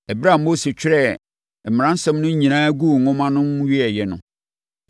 Ɛberɛ a Mose twerɛɛ mmaransɛm no nyinaa guu nwoma mu wieeɛ no,